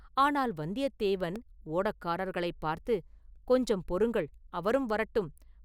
ஆனால் வந்தியத்தேவன் ஓடக்காரர்களைப் பார்த்து, “கொஞ்சம் பொறுங்கள் அவரும் வரட்டும்!